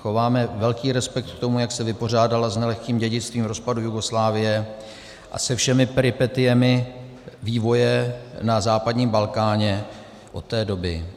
Chováme velký respekt k tomu, jak se vypořádala s nelehkým dědictvím rozpadu Jugoslávie a se všemi peripetiemi vývoje na západním Balkáně od té doby.